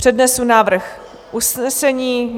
Přednesu návrh usnesení.